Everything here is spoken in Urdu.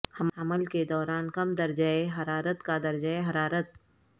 حمل کے دوران کم درجہ حرارت کا درجہ حرارت